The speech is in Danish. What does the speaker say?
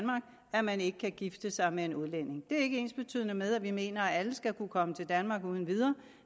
at man ikke kan gifte sig med en udlænding det er ikke ensbetydende med at vi mener at alle skal kunne komme til danmark uden videre